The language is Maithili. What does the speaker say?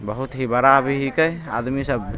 बहुत ही बड़ा भी आदमी सब --